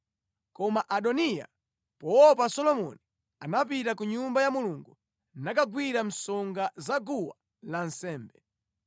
Koma Adoniya, poopa Solomoni, anapita ku Nyumba ya Mulungu nakagwira msonga za guwa lansembe.